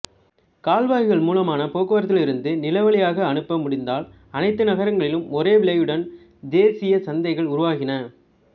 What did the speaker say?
கால்வாய்கள் மூலமான போக்குவரத்திலிருந்து நிலவழியாக அனுப்ப முடிந்ததால் அனைத்து நகரங்களிலும் ஒரே விலையுடன் தேசிய சந்தைகள் உருவாகின